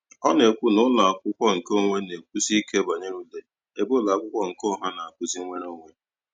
Ọ na-ekwu na ụlọakwụkwọ nke onwe na-ekwusi ike banyere ule, ebe ụlọakwụkwọ nke ọha na-akụzi nwereonwe.